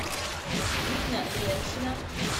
нина леншина